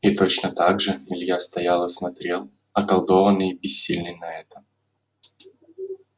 и точно так же илья стоял и смотрел околдованный и бессильный на это